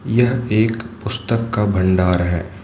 यह एक पुस्तक का भंडार है।